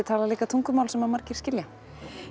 talar líka tungumál sem margir skilja